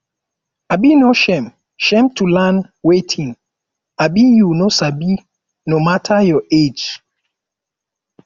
um no shame shame to learn wetin um you no sabi no mata your age